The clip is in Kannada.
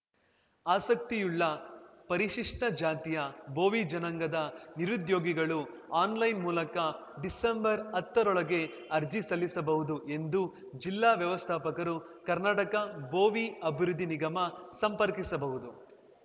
ಆಸಕ್ತಿಯುಳ್ಳ ಪರಿಶಿಷ್ಟಜಾತಿಯ ಭೋವಿ ಜನಾಂಗದ ನಿರುದ್ಯೋಗಿಗಳು ಆನ್‌ಲೈನ್‌ ಮೂಲಕ ಡಿಸೆಂಬರ್ಹತ್ತರೊಳಗೆ ಅರ್ಜಿ ಸಲ್ಲಿಸಬಹುದು ಎಂದು ಜಿಲ್ಲಾ ವ್ಯವಸ್ಥಾಪಕರು ಕರ್ನಾಟಕ ಭೋವಿ ಆಭಿವೃದ್ಧಿ ನಿಗಮ ಸಂಪರ್ಕಿಸಬಹುದು